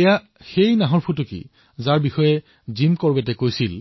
এই বাঘৰ বিষয়ে জিম কৰবেটে কৈছিল